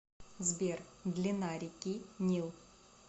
сбер длина реки нил